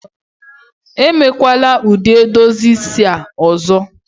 Emekwala ụdị edozi isi a ọzọ!